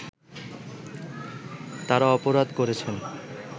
তারা অপরাধ করেছেন